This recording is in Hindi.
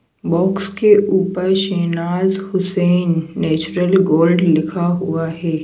बॉक्स के ऊपर शहनाज हुसैन नेचुरल गोल्ड लिखा हुआ है।